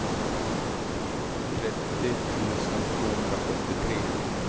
trettio tusen tvåhundrasjuttiotre